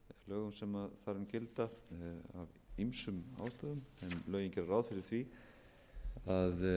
þar um gilda af ýmsum ástæðum en lögin gera ráð fyrir því að uppfylli einstaklingar ekki skilyrði að